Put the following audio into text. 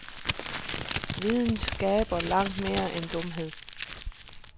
Viden skaber langt mere dumhed.